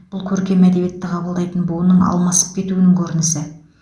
бұл көркем әдебиетті қабылдайтын буынның алмасып кетуінің көрінісі